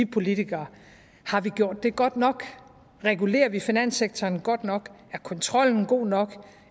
politikere har vi gjort det godt nok regulerer vi finanssektoren godt nok er kontrollen god nok